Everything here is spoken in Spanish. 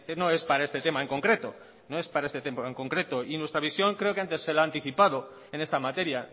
no es para este tema en concreto no es para este tema en concreto y nuestra visión creo que antes se la he anticipado en esta materia